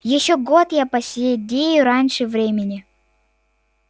ещё год и я поседею раньше времени